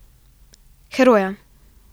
Heroja.